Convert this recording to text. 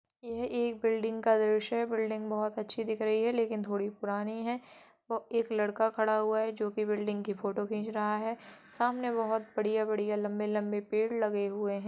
एक बिल्डिंग का दृश्य है बिल्डिंग बहुत अच्छी दिख रही है लेकिन थोड़ी पुरानी है एक लड़का खड़ा है जो कि बिल्डिंग की फोटो खीं च रहा है सामने बोहोत बढ़ियाँ -बढ़ियाँ लंबे-लंबे पेड़ लगे हुए हैं।